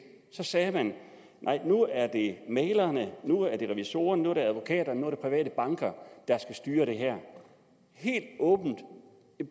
sagde man nej nu er det mæglerne nu er det revisorerne nu er det advokaterne nu er det private banker der skal styre det her helt åbent